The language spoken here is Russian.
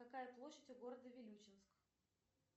какая площадь у города вилючинск